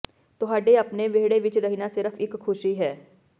ਤੁਹਾਡੇ ਆਪਣੇ ਵਿਹੜੇ ਵਿੱਚ ਰਹਿਣਾ ਸਿਰਫ ਇੱਕ ਖੁਸ਼ੀ ਹੈ